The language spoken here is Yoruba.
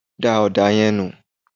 da òdà yẹn nù